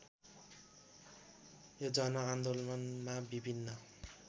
यो जनआन्दोलनमा विभिन्न